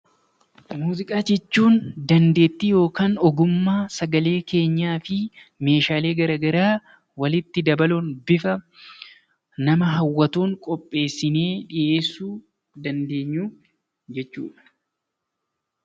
Muuziqaa jechuun dandeettii yookaan sagalee keenyaa fi meeshaalee garaagaraa walitti dabaluun bifa nama hawwatuun qopheessinee dhiyeessuu dandeenyu jechuudha